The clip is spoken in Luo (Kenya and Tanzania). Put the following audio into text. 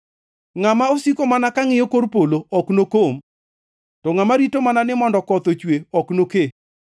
Ngʼama osiko mana ka ngʼiyo kor polo ok nokom; to ngʼama rito mana ni mondo koth ochwe, ok noke.